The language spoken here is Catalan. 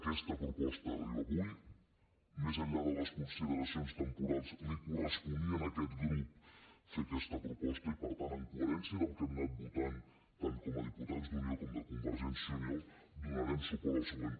aquesta proposta arriba avui més enllà de les consideracions temporals li corresponia a aquest grup fer aquesta proposta i per tant amb coherència del que hem anat votant tant com a diputats d’unió com de convergència i unió donarem suport al següent